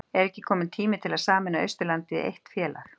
Er ekki kominn tími til að sameina Austurlandið í eitt félag?